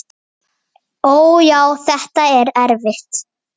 Ó, já, þetta er erfitt.